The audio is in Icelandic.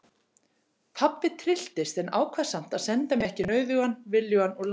Pabbi trylltist en ákvað samt að senda mig ekki nauðugan viljugan úr landi.